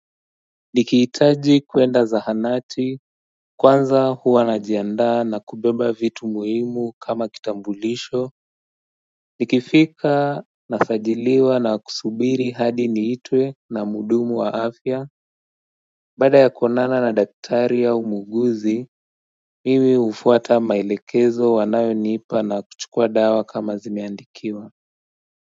Nikiitaji kuenda za hanati kwanza huwa najiandaa na kubeba vitu muhimu kama kitambulisho Nikifika nafajiliwa na kusubiri hadi niitwe na muudumu wa afya Baada ya kuonana na daktari au muuguzi Mimi ufuata maelekezo anayo nipa na kuchukua dawa kama zimeandikiwa.